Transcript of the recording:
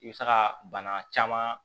I bɛ se ka bana caman